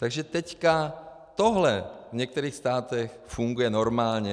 Takže teď tohle v některých státech funguje normálně.